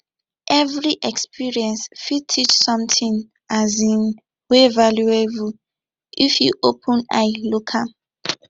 evri experience fit teach somtin um wey valuable if yu open eye look am